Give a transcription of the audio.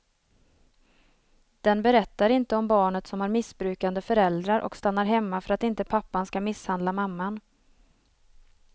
Den berättar inte om barnet som har missbrukande föräldrar och stannar hemma för att inte pappan ska misshandla mamman.